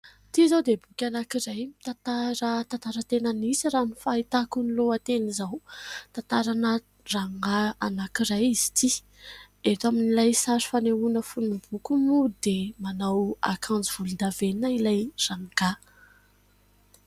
Ity izao dia boky anankiray, mitantara tantara tena nisy raha ny fahitako ny lohateny izao. Tantarana rangahy anankiray izy ity. Eto amin'ilay sary fanehoana fonon'ny boky moa dia manao akanjo volondavenona ilay rangahy.